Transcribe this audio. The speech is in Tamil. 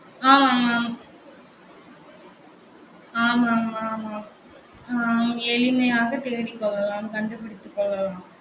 ஆமா ஆமா ஆமா ஆமா ஆமா ஹம் எளிமையாக தேடி போகலாம் கண்டுபிடித்து கொள்ளலாம்